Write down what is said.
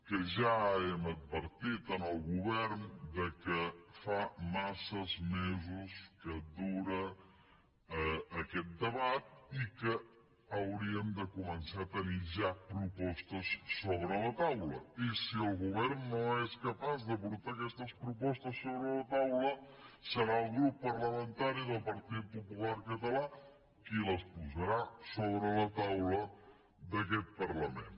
que ja hem advertit al govern que fa massa mesos que dura aquest debat i que hauríem de començar a tenir ja propostes sobre la taula i si el govern no és capaç de portar aquestes propostes sobre la taula serà el grup parlamentari del partit popular català qui les posarà sobre la taula d’aquest parlament